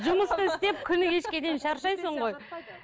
жұмысты істеп күні кешке дейін шаршайсың ғой